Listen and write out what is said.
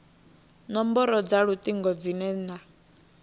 nomboro dza lutingo dzine na